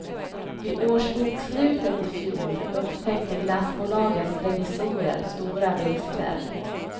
Vid årsbokslutet i fjol upptäckte glassbolagets revisorer stora brister.